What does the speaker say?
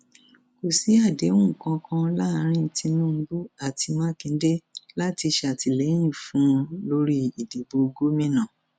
kò sí àdéhùn kankan láàrin tinubu àti mákindé láti ṣàtìlẹyìn fún un lórí ìdìbò gómìnà